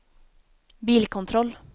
bilkontroll